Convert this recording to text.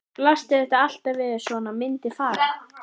Blasti þetta alltaf við að svona myndi fara?